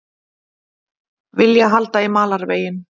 Vilja halda í malarveginn